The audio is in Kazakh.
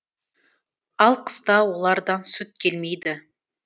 ал қыста олардан сүт келмейді